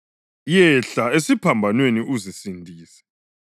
yehla esiphambanweni uzisindise!”